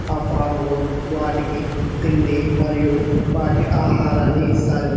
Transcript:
ఆ ఫార్మ్ లో వాటికీ తిండి మరియు వాటి ఆహారాన్ని ఇస్తారు.